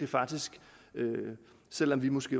faktisk selv om vi måske